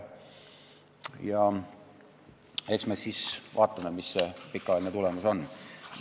Eks me siis vaatame, mis see pikaajaline tulemus on.